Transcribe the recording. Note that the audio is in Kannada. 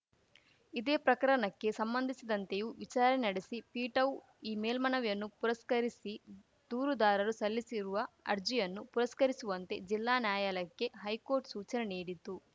ಇದೇ ಪ್ರಕರಣಕ್ಕೆ ಸಂಬಂಧಿಸಿದಂತೆಯೂ ವಿಚಾರಣೆ ನಡೆಸಿ ಪೀಠವು ಈ ಮೇಲ್ಮನವಿಯನ್ನು ಪುರಸ್ಕರಿಸಿ ದೂರುದಾರರು ಸಲ್ಲಿಸಿರುವ ಅರ್ಜಿಯನ್ನು ಪುರಸ್ಕರಿಸುವಂತೆ ಜಿಲ್ಲಾ ನ್ಯಾಯಾಲಯಕ್ಕೆ ಹೈಕೋರ್ಟ್‌ ಸೂಚನೆ ನೀಡಿತು